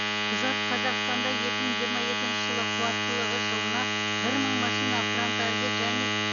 құжат қазақстанда екі мың жиырма екінші жылы қуаттылығы жылына бір мың машина форнтальді және